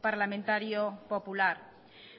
parlamentario popular